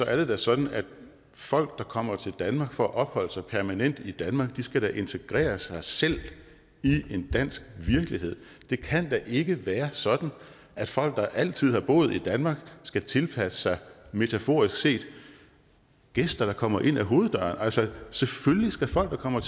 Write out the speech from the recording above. er det da sådan at folk der kommer til danmark for at opholde sig permanent i danmark skal integrere sig selv i en dansk virkelighed det kan da ikke være sådan at folk der altid har boet i danmark skal tilpasse sig metaforisk set gæster der kommer ind ad hoveddøren altså selvfølgelig skal folk der kommer